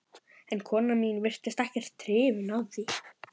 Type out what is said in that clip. En konan mín virtist ekkert hrifin